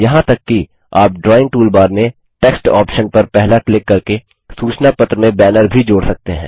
यहाँ तक कि आप ड्राइंग टूलबार में टेक्स्ट ऑप्शन पर पहला क्लिक करके सूचना पत्र में बैनर भी जोड़ सकते हैं